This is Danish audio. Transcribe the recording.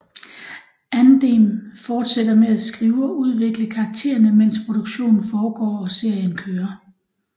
Andem fortsætter med at skrive og udvikle karaktererne mens produktionen foregår og serien kører